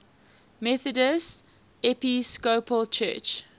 methodist episcopal church